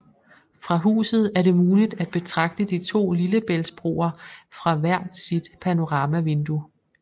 Fra huset er det muligt at betragte de to lillebæltsbroer fra hvert sit panoramavindue